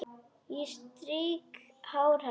Ég strýk hár hennar.